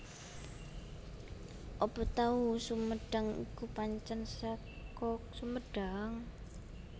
Apa tahu sumedang kui pancen seko Sumedang?